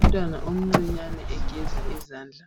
Umntwana omncinyane egeza izandla